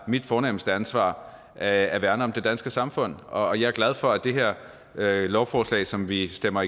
mit fornemste ansvar er at værne om det danske samfund og jeg er glad for at det her lovforslag som vi stemmer